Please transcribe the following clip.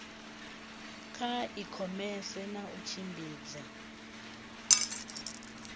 kha ikhomese na u tshimbidza